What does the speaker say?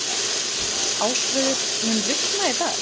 Ásröður, mun rigna í dag?